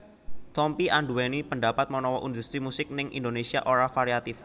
Tompi anduweni pandapat menawa industri musik ning Indonésia ora variatif